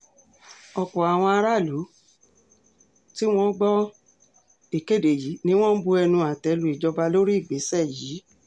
ọ̀pọ̀ àwọn aráààlú tí wọ́n gbọ́ ìkéde yìí ni wọ́n ń bu ẹnu àtẹ́ lu ìjọba lórí ìgbésẹ̀ yìí